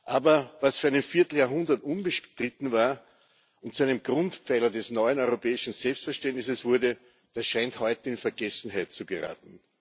Aber was für ein Vierteljahrhundert unbestritten war und zu einem Grundpfeiler des neuen europäischen Selbstverständnisses wurde, das scheint heute in Vergessenheit zu geraten.